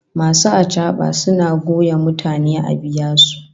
Masu achaba suna goya mutane a biya su